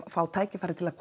fá tækifæri til að